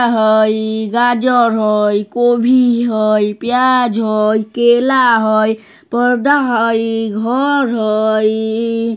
आ हई गाजर हई कोभी हई प्याज हई केला हई पर्दा हई घर हई।